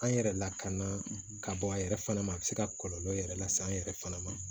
An yɛrɛ lakana ka bɔ a yɛrɛ fana ma a bɛ se ka kɔlɔlɔ yɛrɛ lase an yɛrɛ fana ma